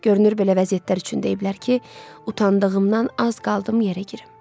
Görünür, belə vəziyyətlər üçün deyiblər ki, utandığımdan az qaldım yerə girim.